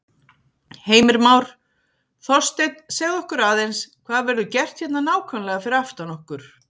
Heimir Már: Þorsteinn, segðu okkur aðeins, hvað verður gert hérna nákvæmlega fyrir aftan okkur?